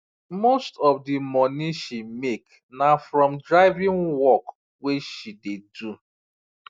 most of the money she make na from driving work wey she dey do